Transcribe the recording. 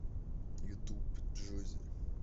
ютуб джоззи